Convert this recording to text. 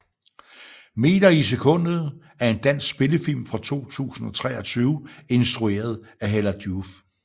Meter i sekundet er en dansk spillefilm fra 2023 instrueret af Hella Joof